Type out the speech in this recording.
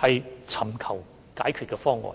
內尋求解決方案。